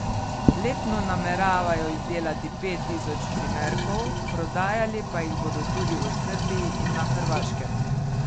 Letno nameravajo izdelati pet tisoč primerkov, prodajali pa jih bodo tudi v Srbiji in na Hrvaškem.